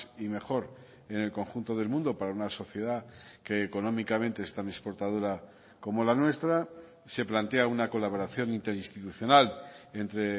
y mejor en el conjunto del mundo para una sociedad que económicamente es tan exportadora como la nuestra se plantea una colaboración interinstitucional entre